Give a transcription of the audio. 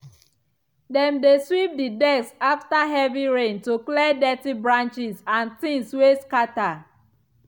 dem dey sweep the deck after heavy rain to clear dirt branches and things wey scatter.